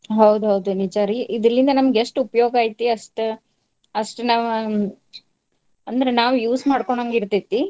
ಹೌದೌದು ನಿಜಾ ರೀ. ಇದರಲಿಂದಾ ನಮಗ್ ಎಷ್ಟ್ ಉಪಯೋಗ ಐತಿ ಅಷ್ಟ, ಅಷ್ಟ ನಾವ್ ಅಂದ್ರ್ ನಾವ್ use ಮಾಡ್ಕೊಂಡಂಗ್ ಇರ್ತೇತಿ.